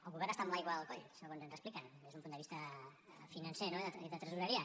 el govern està amb l’aigua al coll segons ens expliquen des d’un punt de vista financer no i de tresoreria